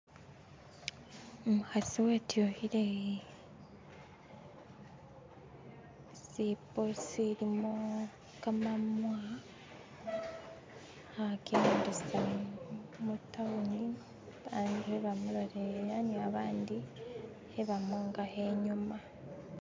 Umukasi wetukile ishibbo ishilimo gamamwa alikunjendesa mu town babandu bamulolelera ni babandu balikumwonga kho inyuma